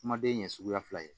Kumaden ɲɛ suguya fila ye